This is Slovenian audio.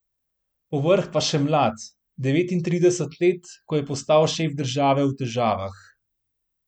Povrh pa še mlad, devetintrideset let, ko je postal šef države v težavah.